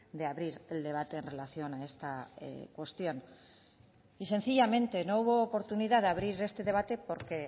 de abrir el debate en relación a esta cuestión y sencillamente no hubo oportunidad de abrir este debate porque